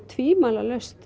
tvímælalaust